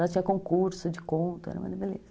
Lá tinha concurso de conto, era uma beleza.